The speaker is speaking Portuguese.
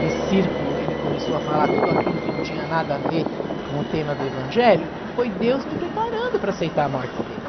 de círculo, ele começou a falar tudo aquilo que não tinha nada a ver com o tema do evangelho, foi Deus me preparando para aceitar a morte dele.